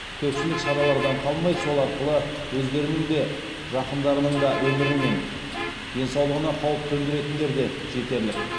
көпшілік шаралардан қалмай сол арқылы өздерінің де жақындарының да өмірі мен денсаулығына қауіп төндіретіндер де жетерлік